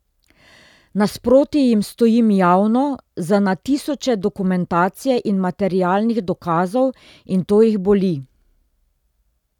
Nasproti jim stojim javno, z na tisoče dokumentacije in materialnih dokazov, in to jih boli.